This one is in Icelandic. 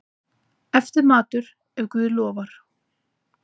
Eftirmatur, ef guð lofar.